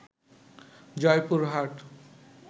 Joypurhat